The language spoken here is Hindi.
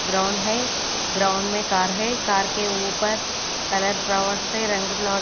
ग्राउंड है ग्राउंड में कार है कार के ऊपर कलर फ्लावर से रंग --